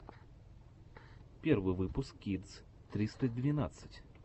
первый выпуск кидс триста двенадцать